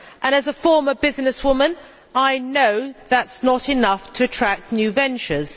As a former businesswoman I know that is not enough to attract new ventures.